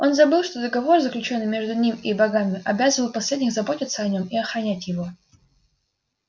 он забыл что договор заключённый между ним и богами обязывал последних заботиться о нём и охранять его